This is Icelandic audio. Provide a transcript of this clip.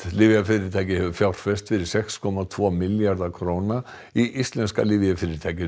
lyfjafyrirtæki hefur fjárfest fyrir sex komma tvo milljarða króna í íslenska lyfjafyrirtækinu